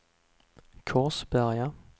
Korsberga